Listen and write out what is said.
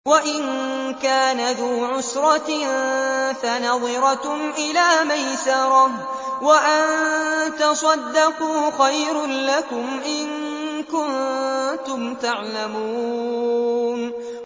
وَإِن كَانَ ذُو عُسْرَةٍ فَنَظِرَةٌ إِلَىٰ مَيْسَرَةٍ ۚ وَأَن تَصَدَّقُوا خَيْرٌ لَّكُمْ ۖ إِن كُنتُمْ تَعْلَمُونَ